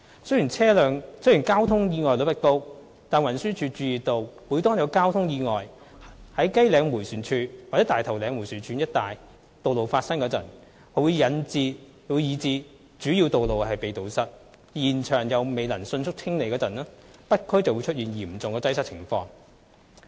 雖然交通意外率不高，但運輸署注意到每當有交通意外在雞嶺迴旋處或大頭嶺迴旋處一帶道路發生以致主要路口被堵塞，而現場又未能迅速清理時，北區便出現嚴重擠塞的情況。